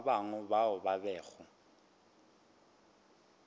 ba bangwe bao ba bego